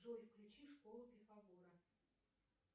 джой включи школу пифагора